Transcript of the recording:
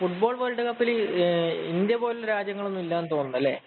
Football‍ world കപ്പില് India പോലുള്ള രാജ്യങ്ങള്‍ ഒന്നും ഇല്ലാന്ന് തോന്നുണ്ട് അല്ലേ?